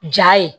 Ja ye